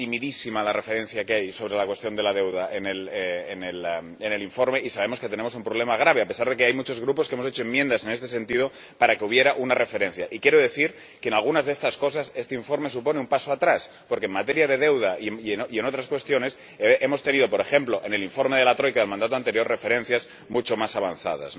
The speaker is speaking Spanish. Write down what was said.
Es timidísima la referencia que hay sobre la cuestión de la deuda en el informe y sabemos que tenemos un problema grave, a pesar de que hay muchos grupos que hemos hecho enmiendas en este sentido para que hubiera una referencia. Y quiero decir que, en algunas de estas cosas, este informe supone un paso atrás, porque en materia de deuda y en otras cuestiones hemos tenido, por ejemplo, en el informe de la Troika del mandato anterior, referencias mucho más avanzadas.